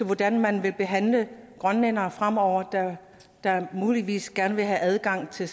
hvordan man vil behandle grønlændere fremover der muligvis gerne vil have adgang til